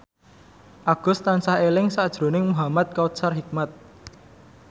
Agus tansah eling sakjroning Muhamad Kautsar Hikmat